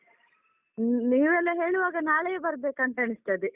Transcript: ಹ್ಮ್ ನೀವೆಲ್ಲ ಹೇಳುವಾಗ ನಾಳೆಯೇ ಬರ್ಬೇಕಂತ ಅನಿಸ್ತದೆ.